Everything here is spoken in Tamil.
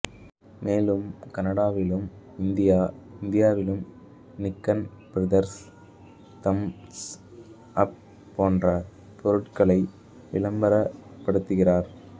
மேலும் கனடாவிலும் இந்தியாஇந்தியாவிலும் நிக்கன் பியர்ஸ் தம்ஸ் அப் போன்ற பொருட்களை விளம்பரப் படுத்துகிறார்